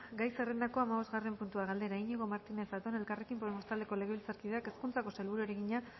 gai zerrendako hamabosgarren puntua galdera iñigo martínez zatón elkarrekin podemos taldeko legebiltzarkideak hezkuntzako sailburuari egina